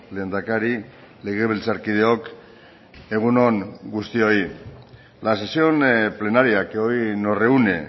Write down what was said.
lehendakari legebiltzarkideok egun on guztioi la sesión plenaria que hoy nos reúne